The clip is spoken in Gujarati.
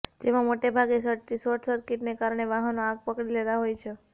જેમાં મોટાભાગે શોટસર્કિટને કારણે વાહનો આગ પકડી લેતા હોય છે